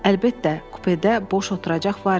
Əlbəttə, kupedə boş oturacaq var idi.